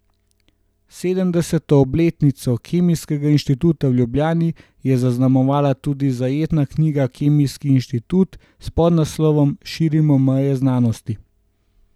Sedemdeseto obletnico Kemijskega inštituta v Ljubljani je zaznamovala tudi zajetna knjiga Kemijski inštitut s podnaslovom Širimo meje znanosti.